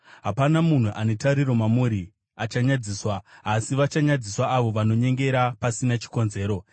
Hapana munhu ane tariro mamuri achanyadziswa, asi vachanyadziswa avo vanonyengera pasina chikonzero.